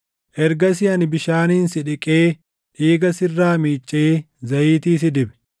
“ ‘Ergasii ani bishaaniin si dhiqee dhiiga sirraa miicee zayitii si dibe.